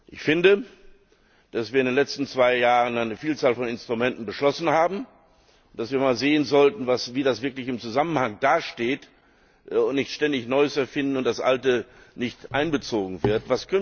Ich finde, dass wir in den letzten zwei Jahren eine Vielzahl von Instrumenten beschlossen haben, dass wir mal sehen sollten, wie das wirklich im Zusammenhang dasteht und dass wir nicht ständig Neues erfinden und das Alte nicht einbezogen wird.